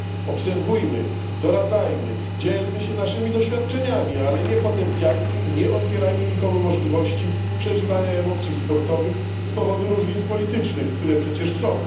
Obserwujmy, doradzajmy, dzielmy się naszymi doświadczeniami, ale nie potępiajmy i nie odbierajmy nikomu możliwości przeżywania emocji sportowych z powodu różnic politycznych, które przecież są.